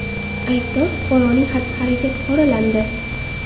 Aybdor fuqaroning xatti-harakati qoralandi.